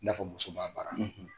I n'a fɔ muso m'a baara,